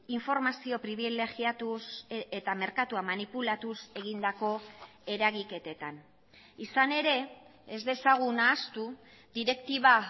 informazio pribilegiatuz eta merkatua manipulatuz egindako eragiketetan izan ere ez dezagun ahaztu direktiba